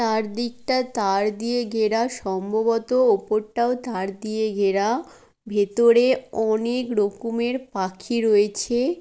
চারদিকটা তার দিয়ে ঘেরা | সম্ভবত ওপর টাও তার দিয়ে ঘেরা | ভেতরে অনেক রকমের পাখি রয়েছে ।